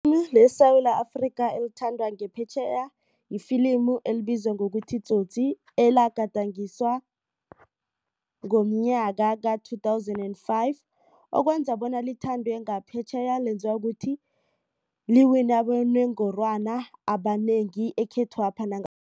LeSewula Afrika elithandwa ngaphetjheya ifilimu elibizwa ngokuthi Tsotsi elagadangiswa ngomnyaka ka-two thousand and five okwenza bona lithandwe ngaphetjheya lenziwa ukuthi liwine abonongorwana abanengi ekhethwapha